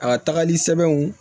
A tagali sɛbɛnw